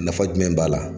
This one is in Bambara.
Nafa jumɛn b'a la